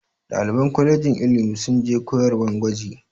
Ɗaliban kolejin ilimi sun je koyarwan gwaji.